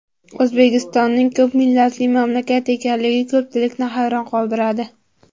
O‘zbekistonning ko‘p millatli mamlakat ekanligi ko‘pchilikni hayron qoldiradi.